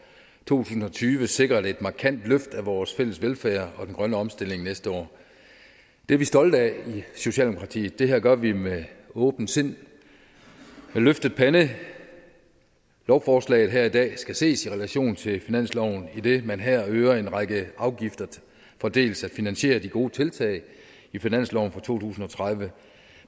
tusind og tyve sikret et markant løft af vores fælles velfærd og den grønne omstilling næste år det er vi stolte af i socialdemokratiet det her gør vi med åbent sind med løftet pande lovforslaget her i dag skal ses i relation til finansloven idet man her øger en række afgifter for dels at finansiere de gode deltag i finansloven for to tusind og tredive